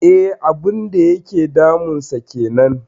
E, abun da yake damunsa kenan.